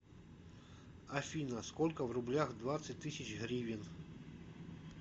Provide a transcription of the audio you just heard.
афина сколько в рублях двадцать тысяч гривен